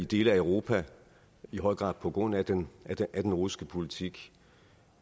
dele af europa i høj grad på grund af den af den russiske politik